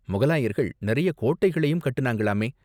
முகலாயர்கள் நிறைய கோட்டைகளையும் கட்டுனாங்கலாமே.